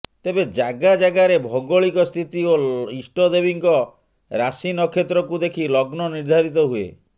ତେବେ ଜାଗା ଜାଗାରେ ଭୌଗଳିକ ସ୍ଥିତି ଓ ଇଷ୍ଟଦେବୀଙ୍କ ରାଶି ନକ୍ଷତ୍ରକୁ ଦେଖି ଲଗ୍ନ ନିର୍ଦ୍ଧାରିତ ହୁଏ